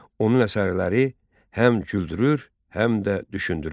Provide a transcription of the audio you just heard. Onun əsərləri həm güldürür, həm də düşündürür.